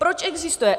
Proč existuje?